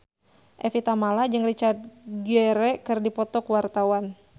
Evie Tamala jeung Richard Gere keur dipoto ku wartawan